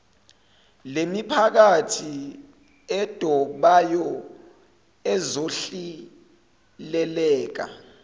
lemiphakathi edobayo ezohileleka